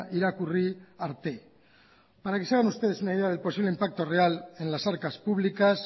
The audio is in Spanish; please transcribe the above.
irakurri arte para que se hagan ustedes una idea del posible impacto real en las arcas públicas